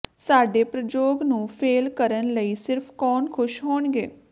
ਸਾਡੇ ਪ੍ਰਯੋਗ ਨੂੰ ਫੇਲ੍ਹ ਕਰਨ ਲਈ ਸਿਰਫ ਕੌਣ ਖੁਸ਼ ਹੋਣਗੇ